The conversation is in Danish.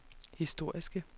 historiske